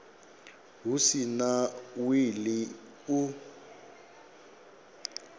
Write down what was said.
hu si na wili u